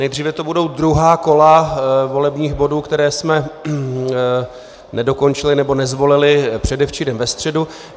Nejdříve tu budou druhá kola volebních bodů, které jsme nedokončili nebo nezvolili předevčírem ve středu.